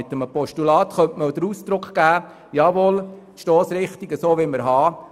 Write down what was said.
Mit einem Postulat könnte man zum Ausdruck bringen, die Stossrichtung so verfolgen zu wollen.